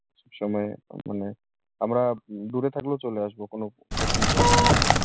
সব সময় মানে আমরা উম দূরে থাকলেও চলে আসবো কোনো কঠিন পরিস্থিতিতে।